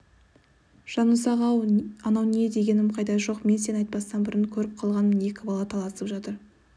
жанұзақ-ау анау не дегенім қайда жоқ мен сен айтпастан бұрын көріп қалғанмын екі бала таласып жатыр